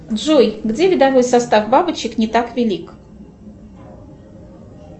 джой где видовой состав бабочек не так велик